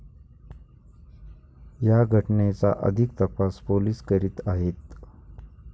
या घटनेचा अधिक तपास पोलिस करीत आहेत.